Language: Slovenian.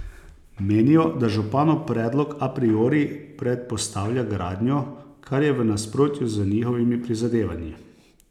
Menijo, da županov predlog a priori predpostavlja gradnjo, kar je v nasprotju z njihovimi prizadevanji.